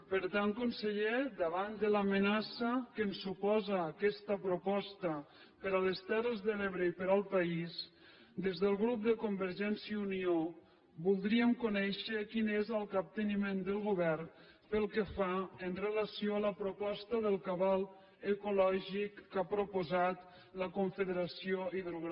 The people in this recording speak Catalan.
per tant conseller davant de l’amenaça que ens suposa aquesta proposta per a les terres de l’ebre i per al país des del grup de convergència i unió voldríem conèixer quin és el capteniment del govern pel que fa amb relació a la proposta del cabal ecològic que ha proposat la confederació hidrogràfica de l’ebre